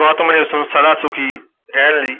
ਗੌਤਮ ਨੇ ਉਸ ਨੂੰ ਸਦਾ ਸੁਖੀ ਰਹਿਣ ਲਈ